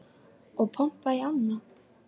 Og pompa í ána?